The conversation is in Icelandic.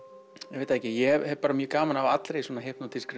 ég veit það ekki ég hef bara mjög gaman af allri svona